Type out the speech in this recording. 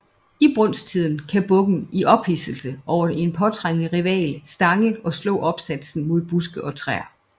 I brunsttiden kan bukken i ophidselse over en påtrængende rival stange og slå opsatsen mod buske og træer